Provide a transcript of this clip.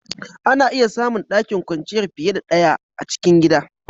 Ana iya samu ɗakin kwanciyar fiye da ɗaya a cikin gida.